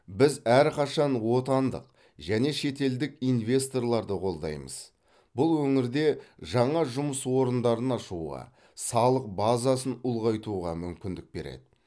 біз әрқашан отандық және шетелдік инвесторларды қолдаймыз бұл өңірде жаңа жұмыс орындарын ашуға салық базасын ұлғайтуға мүмкіндік береді